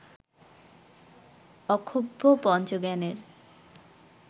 Akshobhya পঞ্চজ্ঞানের